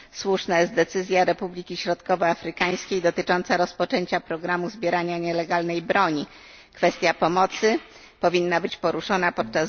Słuszna jest decyzja Republiki Środkowoafrykańskiej dotycząca rozpoczęcia programu zbierania nielegalnej broni, kwestia pomocy powinna być poruszona podczas zgromadzenia...